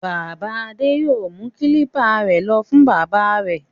Bàbá Adé yóò mú kílípà rẹ̀ lọ fún bábà rẹ̀.